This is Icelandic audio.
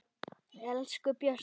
Elsku Bjössi